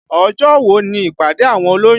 Ọjọ́ wo ni ìpàdé àwọn olóyún?